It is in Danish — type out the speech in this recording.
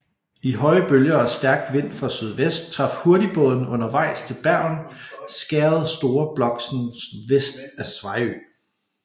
I høje bølger og stærk vind fra sydvest traf hurtigbåden undervejs til Bergen skæret Store Bloksen vest af Sveio